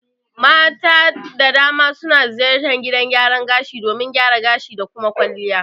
Mata da dama suna ziyartar gidan gyaran gashi domin gyara gashi da kuma kwalliya